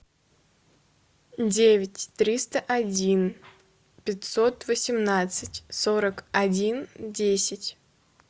девять триста один пятьсот восемнадцать сорок один десять